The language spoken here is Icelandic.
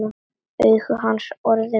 Augu hans orðin gul.